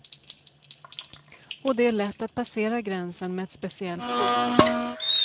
Och det är lätt att passera gränsen med ett speciellt kort.